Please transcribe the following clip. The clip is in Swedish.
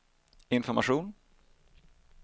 information